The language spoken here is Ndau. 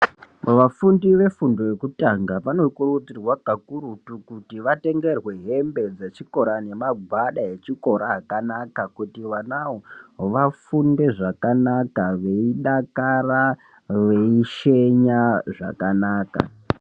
Pavafundi vefundo yokutanga vanokurudzirwa kakurutu kuti vatengerwe hembe dzechikora nemagwada echikora akanaka kuti vanavo vafunde zvakanaka veidakara veishenya zvakanaka.